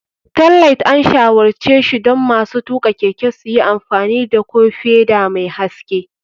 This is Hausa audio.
Tailight, an shawarce shi don masu tuka keke su yi amfani da ko feda mai haske.